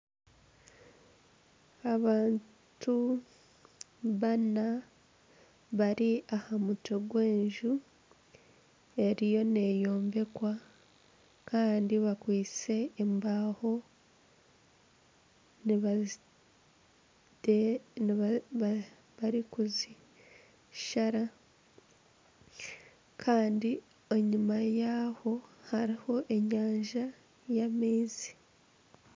Abantu bana bari aha mutwe gw'enju eriyo neeyombekwa kandi bakwaitse embaaho barikuzishara kandi enyima yaho hariho enyanja y'amaizi.